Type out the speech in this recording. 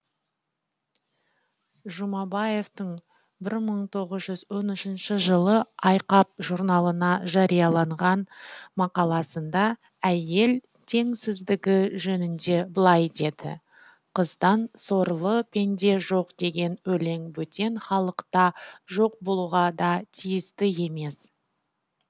жұмабаевтың бір мың тоғыз жүз он үшінші жылы айқап журналына жариялаған мақаласында әйел теңсіздігі жөнінде былай деді қыздан сорлы пенде жоқ деген өлең бөтен халықта жоқ болуға да тиісті емес